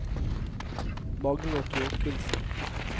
Magne Thorkildsen